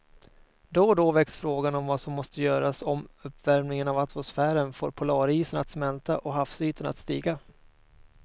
Då och då väcks frågan om vad som måste göras om uppvärmingen av atmosfären får polarisarna att smälta och havsytan att stiga.